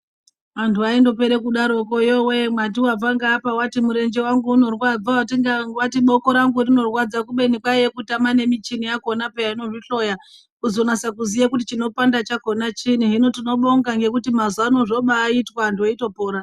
Anthu aindopere kudaroko yowee mwati wabva ngeapa wati murenje wangu unorwadza wabva ngeapa wati boko rangu rinorwadza kubeni kwaiye kutama nemichini yakhona pheyan inozvihloya, kuzonasa kuziya kuti chinopanda chakona chiinyi. Hino tinobonga ngekuti mazuwano zvobaaitwa anthu weitopora.